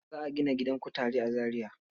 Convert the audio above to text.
Za a gina gidan kutare a Zariya.